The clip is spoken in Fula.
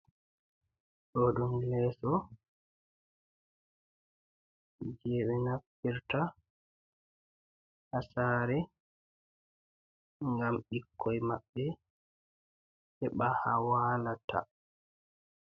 Ɗo ɗum leeso. Je ɓe naftirta haa saare, ngam ɓikkoi maɓɓe heɓa haa walata.